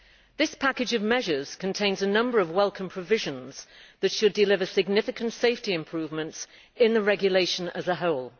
This package of measures contains a number of welcome provisions that should deliver significant safety improvements in the regulation as a whole.